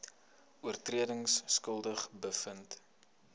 oortredings skuldig bevind